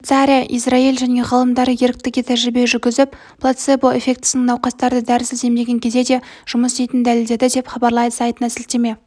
швейцария израиль және ғалымдары еріктіге тәжірибе жүргізіп плацебо эффектісінің науқастарды дәрісіз емдеген кезде де жұмыс істейтінін дәлелдеді деп хабарлайды сайтына сілтеме